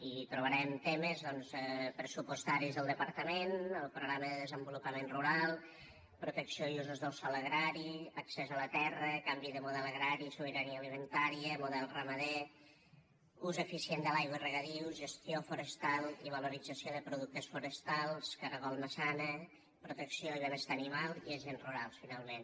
i hi trobarem temes doncs pressupostaris del departament el programa de desenvolupament rural protecció i usos del sòl agrari accés a la terra canvi de model agrari sobirania alimentària model ramader ús eficient de l’aigua i regadius gestió forestal i valorització de productes forestals caragol maçana protecció i benestar animal i agents rurals finalment